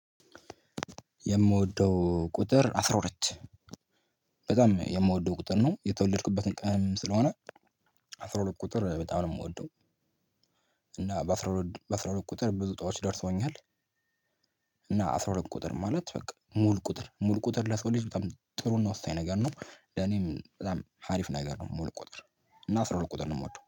የምወደው ቁጥር አስራ ሁለት በጣም የምወደው ቁጥር ነው። የተወለድኩበትን ቀን ስለሆነ አስራ ሁለት ቁጥር በጣም ነው የምወደው። እና በአስራ ሁለት ቁጥር ብዙ እጣዎች ደርሰውኛል። እና አስራ ሁለት ቁጥር ማለት በቃ ሙሉ ቁጥር ሙሉ ቁጥር ለሰው ልጅ በጣም ጥሩ ና ወሳኝ ነገር ነው። ለኔም በጣም አሪፍ ነገር ነው ሙሉ ቁጥር። እና አስራ ሁለት ቁጥር ነው የምወደው።